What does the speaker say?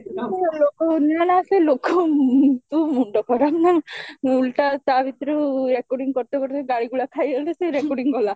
ଲୋକ ସେମାନେ ଆସିବେ ଲୋକ ତୋ ମୁଣ୍ଡ ଖରାପ ମୁଁ ଓଲଟା ତା ଭିତରୁ recording କରୁଥିବା ସେ ଗାଳି ଗୁଳା ଖାଇଗଲେ ସେ recording ଗଲା